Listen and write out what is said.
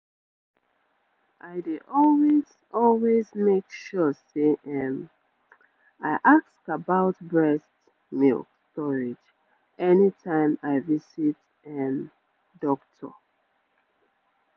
i dey always always make sure say um i ask about breastmilk storage anytime i visit um doctor